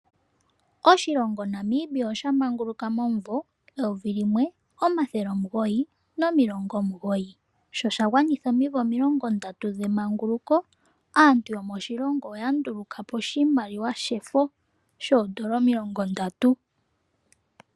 Oshilongo Namibia oshamanguluka omumvo 1990. Sho shagwanitha omimvo 30 dhemanguluko ombaanga lyaNamibia ndyono hayi ndulukapo iimaliwa oya ndulukapo oshimaliwa shefo shoondola omi30.